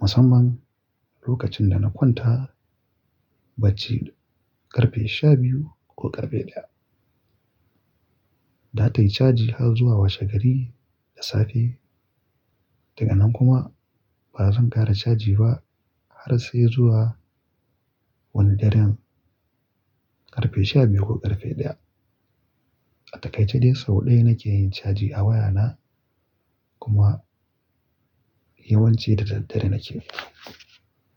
Musamman lokacin da na kwanta bacci ƙarfe sha biyu ko ƙarfe ɗaya. Da tai caji har zuwa washegari da safe. Daga nan kuma ba zan ƙara caji ba har sai zuwa wani daren ƙarfe shabiyu ko ƙarfe ɗaya. A takaice dai sau ɗaya nake yin caji a wayana kuma yawanci da daddare nake.